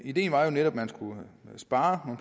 ideen var jo netop at man skulle spare